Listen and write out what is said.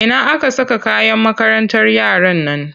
Ina aka saka kayan makarantar yaran nan?